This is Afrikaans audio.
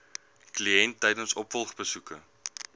kliënt tydens opvolgbesoeke